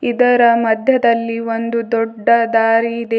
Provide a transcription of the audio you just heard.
ಇದರ ಮಧ್ಯದಲ್ಲಿ ಒಂದು ದೊಡ್ಡ ದಾರಿ ಇದೆ.